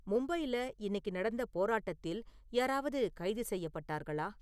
மும்பையில இன்னிக்கு நடந்த போராட்டத்தில் யாராவது கைது செய்யப்பட்டார்களா?